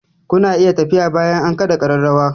Ku na iya tafiya bayan an kaɗa ƙararrawa!